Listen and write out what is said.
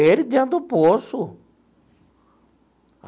Ele dentro do poço.